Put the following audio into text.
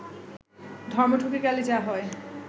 ধর্ম ঢুকে গেলে যা হয়